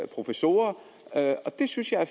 professorer det synes jeg er